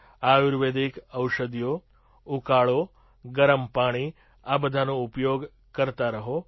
આયુર્વેદિક ઔષધિઓ ઉકાળો ગરમ પાણીઆ બધાનો ઉપયોગ કરતા રહો